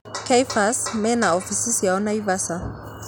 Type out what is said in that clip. Kephis mena offisi ciao Naivasha